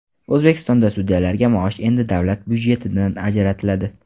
O‘zbekistonda sudyalarga maosh endi davlat budjetidan ajratiladi.